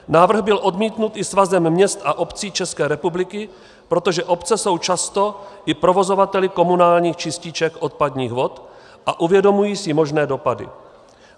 Návrh byl odmítnut i Svazem měst a obcí České republiky, protože obce jsou často i provozovateli komunálních čističek odpadních vod a uvědomují si možné dopady.